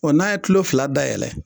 Ɔ n'a ye tulo fila dayɛlɛ